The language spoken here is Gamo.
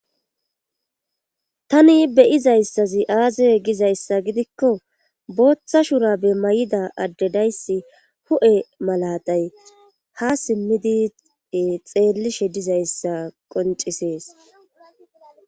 tani beyizayssazi aazeye gizayssa gidikko booththa shurabe may7ida adde dayssi hu7e malatay ha simmidi xeellishe dizayssa qoncisees